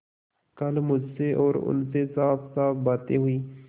कल मुझसे और उनसे साफसाफ बातें हुई